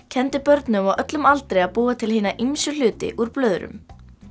kenndi börnum á öllum aldri að búa til hina ýmsu hluti úr blöðrum